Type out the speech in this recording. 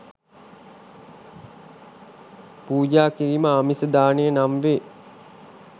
පූජා කිරීම ආමිස දානය නම් වේ.